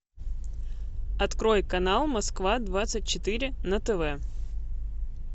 открой канал москва двадцать четыре на тв